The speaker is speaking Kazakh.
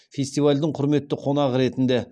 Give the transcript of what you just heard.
фестивальдің құрметті қонағы ретінде